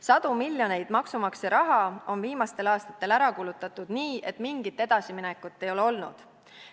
Sadu miljoneid maksumaksja raha on viimastel aastatel ära kulutatud nii, et mingit edasiminekut ei ole olnud.